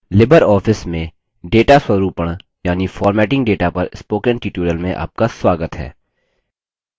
Libre office में data स्वरूपण यानि formatting data पर spoken tutorial में आपका स्वागत है